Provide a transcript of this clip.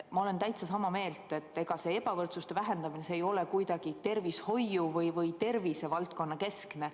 Ma olen täitsa sama meelt, et ega ebavõrdsuse vähendamine ei ole kuidagi tervishoiu‑ või tervisevaldkonnakeskne.